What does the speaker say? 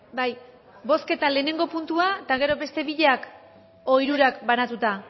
bai bozketa lehenengo puntua eta gero beste biak edo hirurak banatuta